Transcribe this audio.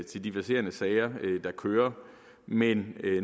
til de verserende sager der kører men